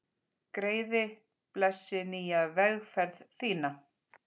Greiði, blessi nýja vegferð þína.